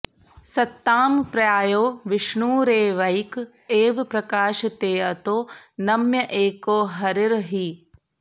सत्तां प्रायो विष्णुरेवैक एव प्रकाशतेऽतो नम्य एको हरिर्हि